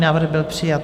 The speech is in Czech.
Návrh byl přijat.